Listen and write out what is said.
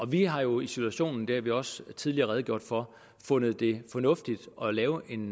vi har jo i situationen og det har vi også tidligere redegjort for fundet det fornuftigt at lave en